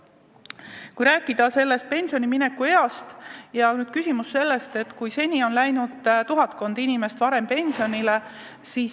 Kui rääkida pensionile minekust, siis on küsimus selles, et seni on vaid tuhatkond inimest endale pensioni maksmise edasi lükanud.